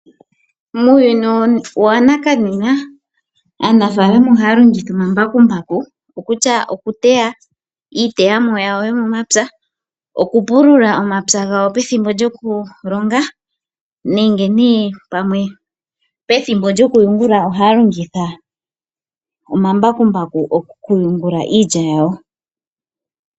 Muuyuni wanakanena aanafalama ohaya longitha omambakumbaku okutya okuteya iiteyamo yawo yomomapya, okupulula omapya gawo pethimbo lyokulonga nenge nee pamwe pethimbo lyokuyungula ohaya longitha omambakumbaku okuyungula iilya yawo.